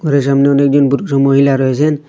ঘরের সামনে অনেকজন পুরুষ ও মহিলা রয়েছেন।